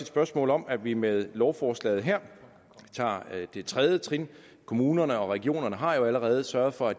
spørgsmål om at vi med lovforslaget her tager det tredje trin kommunerne og regionerne har jo allerede sørget for